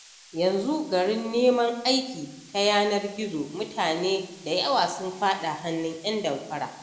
Yanzu garin neman aiki ta yanar gizo, mutane da yawa sun faɗa hannun 'yan damfara.